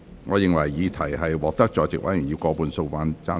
我認為議題獲得在席委員以過半數贊成。